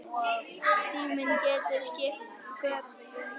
Tíminn getur skipt sköpum.